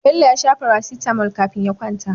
Bello ya sha Paracetamol kafin ya kwanta